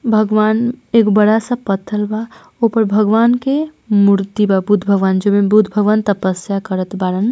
भगवान एक बड़ा सा प पथर वाऊपर भगवान के मूर्ति बुध भगवान जी बुध भगवान त्प्य्सा करत वा।